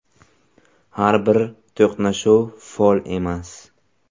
Har bir to‘qnashuv fol emas.